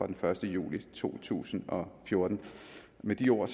den første juli to tusind og fjorten med de ord